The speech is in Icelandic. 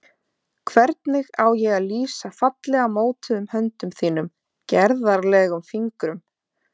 Hvernig á ég að lýsa fallega mótuðum höndum þínum, gerðarlegum fingrum?